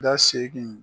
Da segin